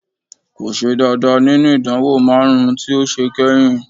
Kò ṣe dáadáa nínú ìdánwò márùn-ún tí ó ṣe kányìn